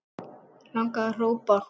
Langaði að hrópa